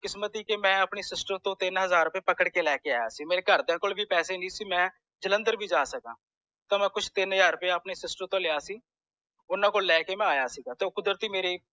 ਕਿਸਮਤ ਸੀ ਕਿ ਮੈਂ ਆਪਣੀ sister ਤੋੰ ਤਿੰਨ ਹਜ਼ਾਰ ਰੁਪਏ ਪਕੜ ਕ ਲੈਕੇ ਆਯਾ ਸੀ ਮੇਰੇ ਘਰਦਿਆਂ ਕੋਲ ਵੀ ਪੈਸੇ ਨਹੀਂ ਸੀ ਮੈਂ ਜਲੰਧਰ ਵੀ ਜਾ ਸਕਾਂ ਤਾਂ ਮਈ ਕੁਛ ਤਿੰਨ ਹਜ਼ਾਰ ਰੁਪਯਾ ਆਪਣੀ sister ਤੂੰ ਲਿਆ ਸੀ ਓਨਾ ਕੋਲੋਂ ਲੈਕੇ ਮੈਂ ਆਯਾ ਸੀ ਤੇ ਕੁਦਰਤੀ ਮੇਰੇ